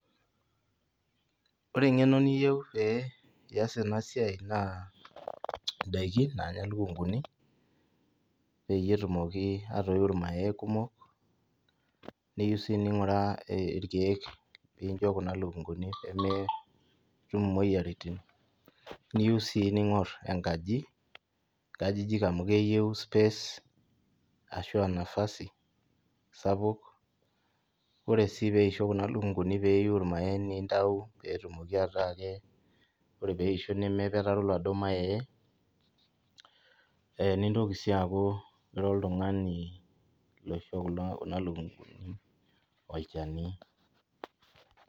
Ore engeno niyieu pee iyas enasiai naa indaikin nanya lukunguni peyie etumoki atoiu irmayai , neyiu sii ninguraa irkiek pincho kuna lukunguni pee metum imoyiaritin , niyieu sii ningor enkaji, nkajijik amu keyieu space arashu nafasi sapuk , ore sii peisho kuna lukunguni pee eiu irmayai nintayu enoshi kata ake , ore peisho nemepetero ee nintoki sii aaku ira oltungani loisho kuna lukunguni olchani.